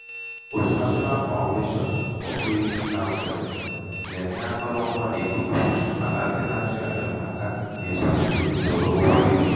òtù national founation for credit counseling nà-ènye akọrọṅgwā n’ìk̀ùkù màkà ndị na-achọ ènyèmaka n’etu ha gà-èsi sòro um ụgwọ e jì.